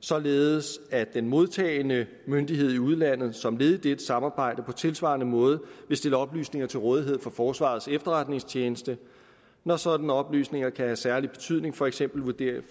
således at den modtagende myndighed i udlandet som led i dette samarbejde på tilsvarende måde vil stille oplysninger til rådighed for forsvarets efterretningstjeneste når sådanne oplysninger kan have særlig betydning for for eksempel vurderingen